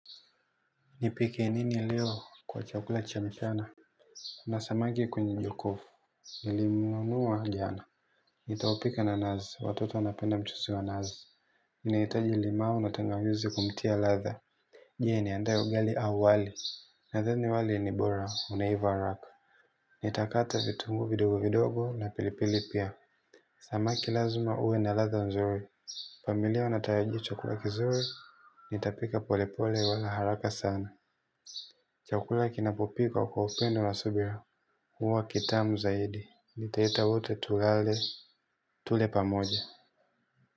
Nipike nini leo kwa chakula cha mchana. Na samaki kwenye njokofu. Nilimunua jana. Nitaopika nanazi watoto wanapenda mchuzi wa nazi. Nanitaji limao na tangawizi kumtia latha. Je ni andae ugali au wali. Nathani wali ni bora unaiva haraka. Nitakata vitungu vidogo vidogo na pilipili pia samaki lazima huwe na ladha nzuri familia watarajia chakula kizuri. Nitapika pole pole wala haraka sana. Chakula kinapopikawa kwa upendo na subira huwa kitamu zaidi. Nitaita wote tulale. Tule pamoja.